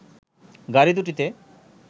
গাড়ি দু'টিতে